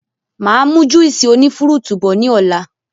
Máa mu Juísì oní fúrútù bọ̀ ni ọ̀la